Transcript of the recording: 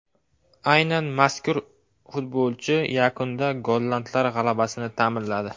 Aynan mazkur futbolchi yakunda gollandlar g‘alabasini ta’minladi.